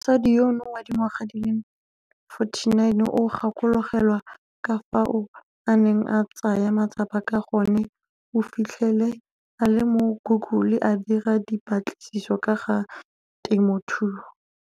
Mosadi yono wa dingwaga di le 49 o gakologelwa ka fao a neng a tsaya matsapa ka gone o fitlhele a le mo Google a dira dipatlisiso ka ga temothuo.